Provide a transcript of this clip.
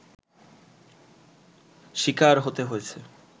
শিকার হতে হয়েছে